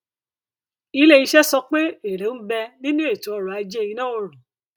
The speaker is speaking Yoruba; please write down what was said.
ilé iṣẹ sọ pé èrè ń bẹ nínú ètò ọrọ ajé iná oòrùn